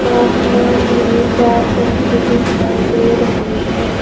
आसमान में चार पंछी दिखाई दे रहे है।